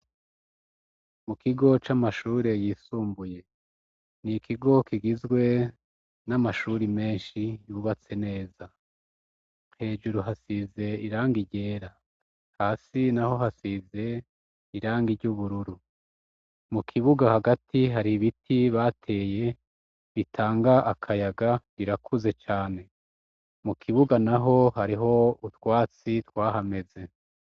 Mu kigo c'amashuri yisumbuye, n'ikigo kigizwe n'amashure menshi yubatse neza. Hejuru hasize irangi ryera hasi naho hasize irangi ry'ubururu mukibuga hagati har'ibiti bateye bitanga akayaga birakuze cane. Mukibuga naho hariho utwatsi twahameze.